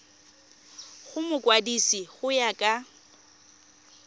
go mokwadise go ya ka